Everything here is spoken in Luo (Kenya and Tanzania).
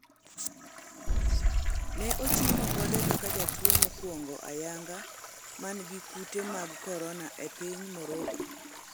ne ochiw ripode kaka jatuo mokwongo ayanga man gi kute mag korona e piny Moroco